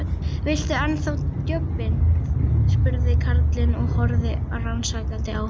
Viltu ennþá djobbið? spurði karlinn og horfði rannsakandi á hann.